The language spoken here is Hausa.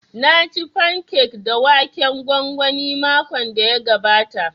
Na ci fankek da waken gwangwani makon da ya gabata